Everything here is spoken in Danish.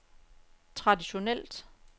traditionelt